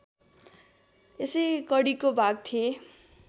यसै कडीको भाग थिए